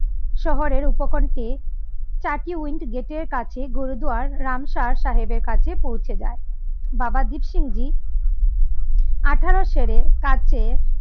শহরের উপকন্ঠে টাকি উইন্ড গেটের কাছে গুরুদুয়ার রামসার সাহেবের কাছে পৌঁছে যায় বাবা দ্বীপ সিং জী আঠারো ছেড়ে কাছে